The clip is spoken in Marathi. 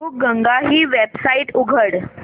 बुकगंगा ही वेबसाइट उघड